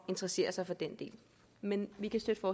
interessere sig for den del men vi kan støtte